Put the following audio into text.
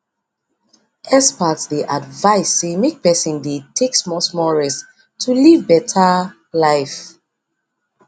experts dey advise say make person dey take smallsmall rest to live better life